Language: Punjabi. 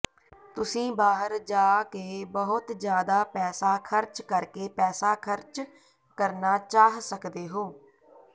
ਤੁਸੀਂ ਬਾਹਰ ਜਾ ਕੇ ਬਹੁਤ ਜ਼ਿਆਦਾ ਪੈਸਾ ਖਰਚ ਕਰਕੇ ਪੈਸਾ ਖਰਚ ਕਰਨਾ ਚਾਹ ਸਕਦੇ ਹੋ